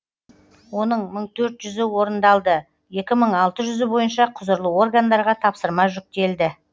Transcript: оның мың төрт жүзі орындалды екі мың алты жүзі бойынша құзырлы органдарға тапсырма жүктел